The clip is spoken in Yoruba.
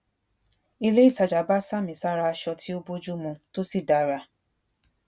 ilé ìtajà bá sami sára aṣọ tí o bójú mu to si dara